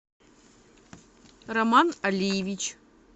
роман алиевич